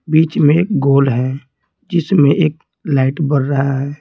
बीच में एक गोल है जिसमें एक लाइट बर रहा है।